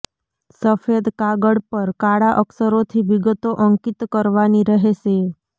સફેદ કાગળ પર કાળા અક્ષરોથી વિગતો અંકિત કરવાની રહેશે